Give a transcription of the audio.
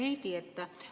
Hea Heidy!